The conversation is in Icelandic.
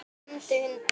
Hann lamdi hunda